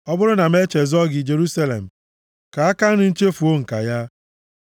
Ọ bụrụ na m echezọọ gị, Jerusalem, ka aka nri m chefuo ǹka ya.